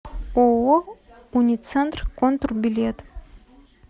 ооо уницентр контур билет